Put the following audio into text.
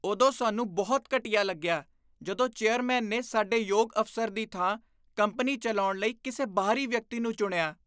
ਉਦੋਂ ਸਾਨੂੰ ਬਹੁਤ ਘਟੀਆ ਲੱਗਿਆ ਜਦੋਂ ਚੇਅਰਮੈਨ ਨੇ ਸਾਡੇ ਯੋਗ ਅਫ਼ਸਰ ਦੀ ਥਾਂ ਕੰਪਨੀ ਚਲਾਉਣ ਲਈ ਕਿਸੇ ਬਾਹਰੀ ਵਿਅਕਤੀ ਨੂੰ ਚੁਣਿਆ।